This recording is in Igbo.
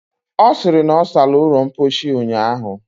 Ọ sịrị na ọ sara ụlọ mposi ụnyaahụ.